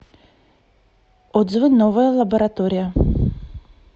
отзывы новая лаборатория